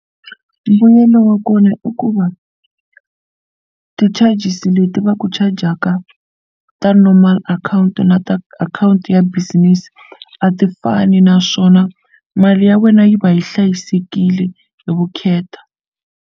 Mbuyelo wa kona i ku va ti-charges leti va ku chajaka ta normal akhawunti na ta akhawunti ya business a ti fani naswona mali ya wena yi va yi hlayisekile hi vukheta.